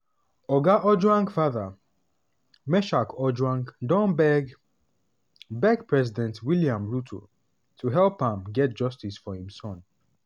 oga ojwang father meshack ojwang don beg beg president william ruto to help am get justice for im son.